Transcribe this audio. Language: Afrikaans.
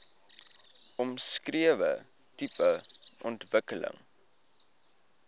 omskrewe tipe ontwikkeling